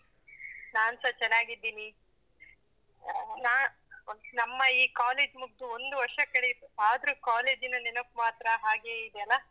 ನಾನ್ಸಾ ಚೆನ್ನಾಗಿದ್ದೀನಿ. ನಾ ನಮ್ಮ ಈ college ಮುಗ್ದು ಒಂದು ವರ್ಷ ಕಳಿತು, ಆದ್ರೂ college ನ ನೆನಪು ಮಾತ್ರ ಹಾಗೇ ಇದೆ ಅಲ್ಲಾ?